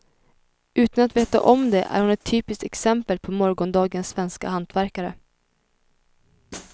Utan att veta om det är hon ett typiskt exempel på morgondagens svenska hantverkare.